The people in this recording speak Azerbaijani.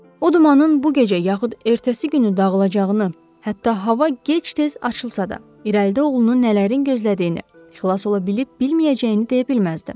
O dumanın bu gecə, yaxud ertəsi günü dağılacağını, hətta hava gec-tez açılsa da, irəlidə oğlunu nələrin gözlədiyini, xilas ola bilib-bilməyəcəyini deyə bilməzdi.